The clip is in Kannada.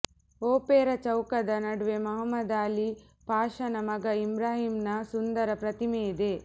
ಒಪೆರ ಚೌಕದ ನಡುವೆ ಮಹಮ್ಮದ್ ಆಲೀ ಪಾಷನ ಮಗ ಇಬ್ರಾಹಿಮನ ಸುಂದರ ಪ್ರತಿಮೆಯಿದೆ